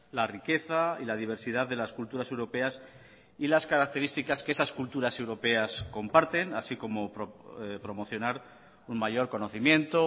la riqueza y la diversidad de las culturas europeas y las características que esas culturas europeas comparten así como promocionar un mayor conocimiento